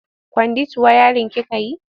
Kwandit wayarin kika yi?